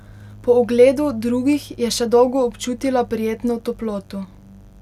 Po ogledu drugih je še dolgo občutila prijetno toploto.